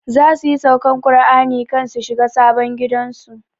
Za su yi saukan Kur'ani kan su shiga sabon gidan su